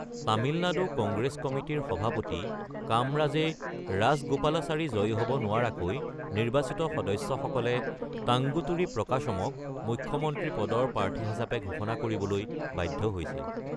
তামিলনাডু কংগ্ৰেছ কমিটিৰ সভাপতি কামৰাজে ৰাজগোপালাচাৰী জয়ী হ’ব নোৱাৰাকৈ, নিৰ্বাচিত সদস্যসকলে তাংগুতুৰী প্ৰকাশমক মুখ্যমন্ত্ৰী পদৰ প্ৰাৰ্থী হিচাপে ঘোষণা কৰিবলৈ বাধ্য হৈছিল।